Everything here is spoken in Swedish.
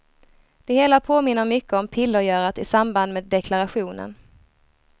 Det hela påminner mycket om pillergörat i samband med deklarationen.